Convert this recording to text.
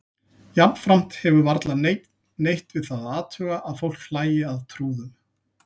Jafnframt hefur varla neinn neitt við það að athuga að fólk hlæi að trúðum.